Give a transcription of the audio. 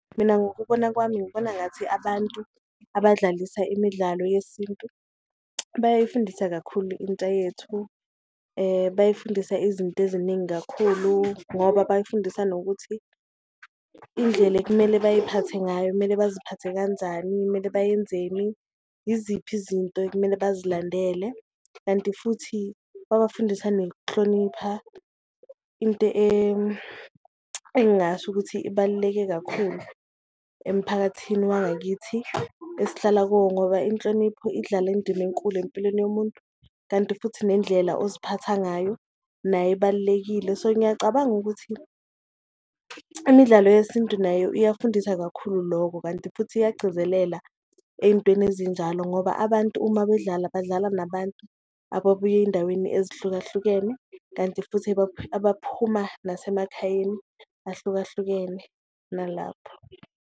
Mina ngokubona kwami ngibona ngathi abantu abadlalisa imidlalo yesintu bayayifundisa kakhulu intsha yethu, bayifundisa izinto eziningi kakhulu ngoba bayifundisa nokuthi indlela ekumele bayiphathe ngayo kumele baziphathe kanjani, kumele bayenzeni. Iziphi izinto ekumele bazilandele kanti futhi babafundisa nokuhlonipha, into engingasho ukuthi ibaluleke kakhulu emphakathini wangakithi esihlala kuwo ngoba inhlonipho idlala indima enkulu empilweni yomuntu, kanti futhi nendlela oziphatha ngayo nayo ibalulekile. So ngiyacabanga ukuthi imidlalo yesintu nayo iyafundisa kakhulu loko, kanti futhi iyagcizelela eyintweni ezinjalo ngoba abantu uma bedlala badlala nabantu ababuya eyindaweni ezihlukahlukene. Kanti futhi abaphuma nasemakhayeni ahlukahlukene nalapho.